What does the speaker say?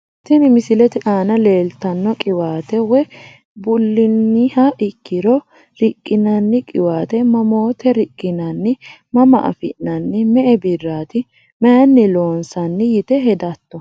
Tini misilete aana leeltano qiwaate woyi buliniha ikiro riqinani qiwaate mamoote riqinanni mama afinani me`e biraat mayini loonsani yite hedato?